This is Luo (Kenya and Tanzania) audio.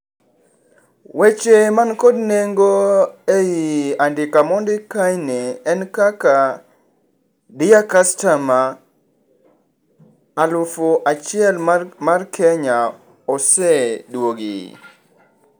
Weche man kod nengo ei andika mondik kaeni en kaka, dear customer, alufu achiel mar Kenya oseduogi.